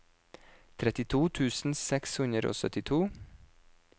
trettito tusen seks hundre og syttito